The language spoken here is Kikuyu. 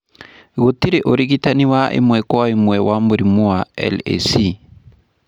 Gũtirĩ ũrigitani wa ĩmwe kwa ĩmwe wa mũrimũ wa LAC.